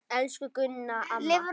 Elsku Gunna amma.